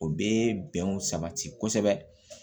O bɛ bɛnw sabati kosɛbɛ